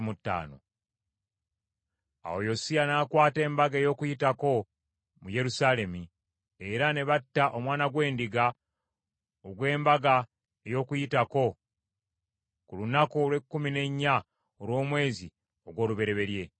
Awo Yosiya n’akwata Embaga ey’Okuyitako mu Yerusaalemi, era ne batta omwana gw’endiga, ogw’Embaga ey’Okuyitako ku lunaku olw’ekkumi n’ennya olw’omwezi ogw’olubereberye.